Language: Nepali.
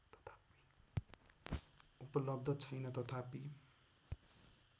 उपलब्ध छैन तथापि